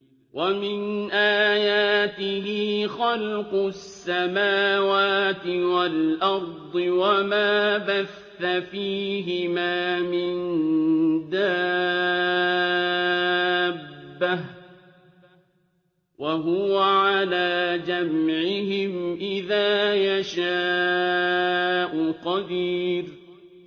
وَمِنْ آيَاتِهِ خَلْقُ السَّمَاوَاتِ وَالْأَرْضِ وَمَا بَثَّ فِيهِمَا مِن دَابَّةٍ ۚ وَهُوَ عَلَىٰ جَمْعِهِمْ إِذَا يَشَاءُ قَدِيرٌ